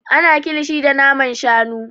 Ana kilishi da naman shanu.